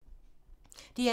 DR2